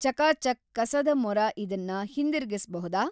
ಚಕಾ ಚಕ್ ಕಸದ ಮೊರ ಇದನ್ನ ಹಿಂದಿರುಗಿಸ್ಬಹುದಾ?